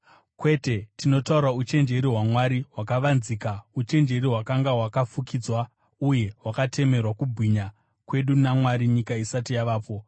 Kwete, tinotaura uchenjeri hwaMwari hwakavanzika, uchenjeri hwakanga hwakafukidzwa uye hwakatemerwa kubwinya kwedu naMwari nyika isati yavapo.